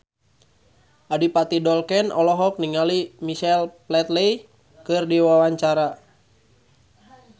Adipati Dolken olohok ningali Michael Flatley keur diwawancara